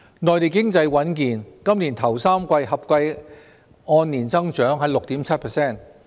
內地經濟穩健，今年首3季合計按年增長 6.7%。